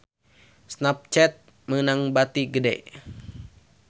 Snapchat meunang bati gede